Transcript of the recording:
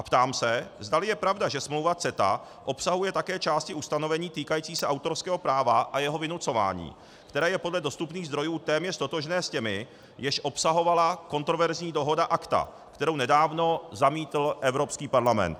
A ptám se, zdali je pravda, že smlouva CETA obsahuje také části ustanovení týkající se autorského práva a jeho vynucování, které je podle dostupných zdrojů téměř totožné s těmi, jež obsahovala kontroverzní dohoda ACTA, kterou nedávno zamítl Evropský parlament.